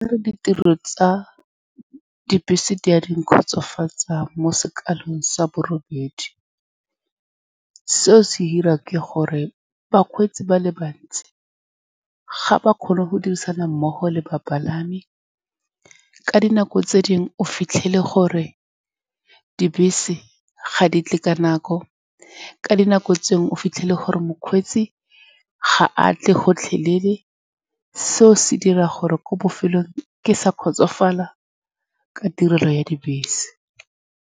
Ditiro tsa dibese di a di nkgotsofatsa mo sekaleng sa bo robedi. Seo se dirwa ke gore bakgweetsi ba le bantsi ga ba kgone go dirisana mmogo le bapalami. Ka dinako tse dingwe o fitlhele gore dibese ga di tle ka nako, ka dinako tse dingwe o fitlhele gore mokgweetsi ga atle gotlhelele. Seo se dira gore ko bofelong ke sa kgotsofala ka tirelo ya dibese.